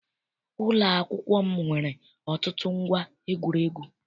Ụlọakwụkwọ m nwere ọtụtụ ngwa egwuregwu.